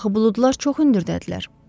Axı buludlar çox hündürdədirlər.